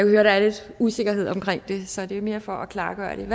høre der er lidt usikkerhed om det så det er mere for at klarlægge